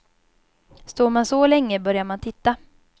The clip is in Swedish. Står man så länge börjar man titta.